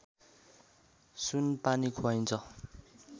सुनपानी खुवाइन्छ